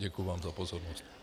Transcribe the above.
Děkuji vám za pozornost.